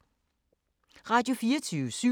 Radio24syv